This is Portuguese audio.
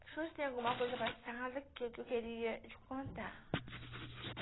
Acho que tem alguma coisa passada que eu queria te contar.